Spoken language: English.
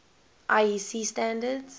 iec standards